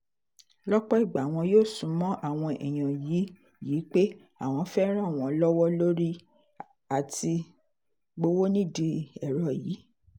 lọ́pọ̀ ìgbà wọn yóò sún mọ́ àwọn èèyàn yìí yìí pé àwọn fẹ́ẹ́ ràn wọ́n lọ́wọ́ lórí àti-gbowó nídìí ẹ̀rọ yìí